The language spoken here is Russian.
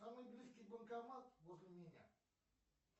самый близкий банкомат возле меня